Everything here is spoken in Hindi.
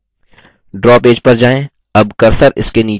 draw पेज पर जाएँ